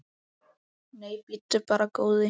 Nei, bíddu bara, góði.